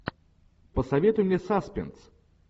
посоветуй мне саспенс